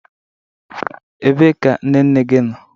Ebee ka nne nne gị nọ?